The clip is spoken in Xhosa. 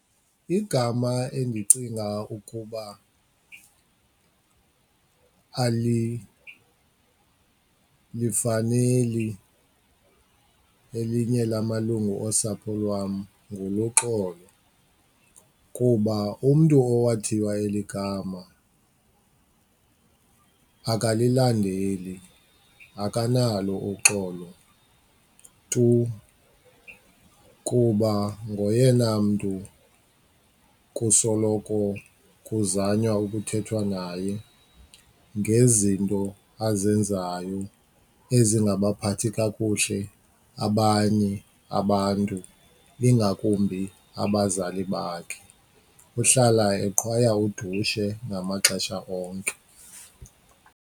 Igama endicinga ukuba alilifaneli elinye lamalungu osapho lwam nguLuxolo kuba umntu owathiwa eli gama akalilandeli, akanalo uxolo tu kuba ngoyena mntu kusoloko kuzanywa ukuthethwa naye ngezinto azenzayo ezingabaphathi kakuhle abanye abantu ingakumbi abazali bakhe. Uhlala eqhwaya udushe ngamaxesha onke.